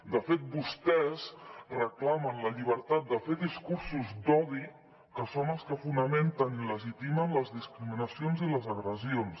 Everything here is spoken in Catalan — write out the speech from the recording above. de fet vostès reclamen la llibertat de fer discursos d’odi que són els que fonamenten i legitimen les discriminacions i les agressions